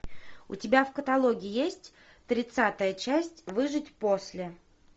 у тебя в каталоге есть тридцатая часть выжить после